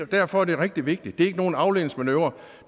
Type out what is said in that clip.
derfor er det rigtig vigtigt det er ikke nogen afledningsmanøvre